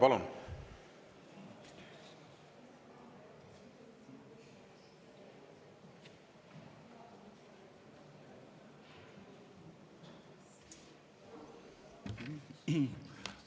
Palun!